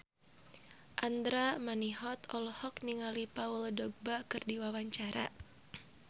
Andra Manihot olohok ningali Paul Dogba keur diwawancara